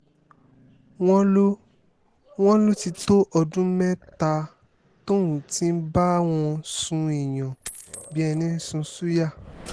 wọ́n ló wọ́n ló ti tó ọdún mẹ́ta tóun ti ń bá wọn sún èèyàn bíi ẹni sùn ṣùyà